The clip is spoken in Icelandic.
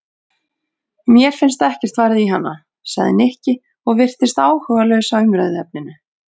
Mér finnst ekkert varið í hana sagði Nikki og virtist áhugalaus á umræðuefninu.